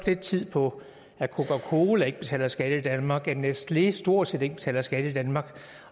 lidt tid på at coca cola ikke betaler skat i danmark at nestlé stort set ikke betaler skat i danmark